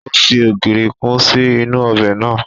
Ó fi ogiri kun sí inú ọbẹ̀ naa